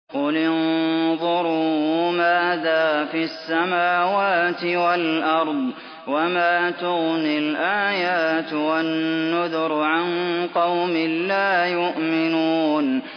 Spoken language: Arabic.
قُلِ انظُرُوا مَاذَا فِي السَّمَاوَاتِ وَالْأَرْضِ ۚ وَمَا تُغْنِي الْآيَاتُ وَالنُّذُرُ عَن قَوْمٍ لَّا يُؤْمِنُونَ